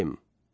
Elm.